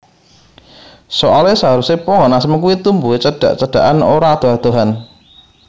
Soale seharuse pohon asem kuwi tumbuhe cedhak cedhakan ora adoh adohan